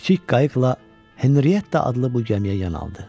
Kiçik qayıqla Henrietta adlı bu gəmiyə yanalı.